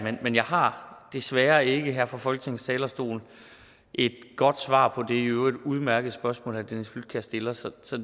men jeg har desværre ikke her fra folketingets talerstol et godt svar på det i øvrigt udmærkede spørgsmål herre dennis flydtkjær stiller så så